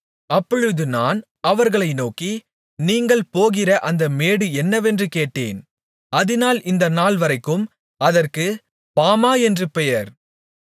அப்பொழுது நான் அவர்களை நோக்கி நீங்கள் போகிற அந்த மேடு என்னவென்று கேட்டேன் அதினால் இந்த நாள்வரைக்கும் அதற்குப் பாமா என்று பெயர்